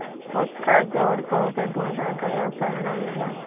उसका जोड़ बहुत ढूँढ़ा गया पर न मिला